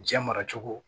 Diɲɛ mara cogo